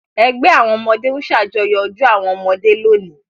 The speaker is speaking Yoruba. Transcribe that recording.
Ẹgbẹ́ àwọn ọmọdé ń ṣàjọyọ̀ ọjọ́ àwọn ọmọdé lónìí!